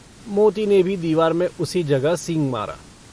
मोती ने भी दीवार में उसी जगह सींग मारा।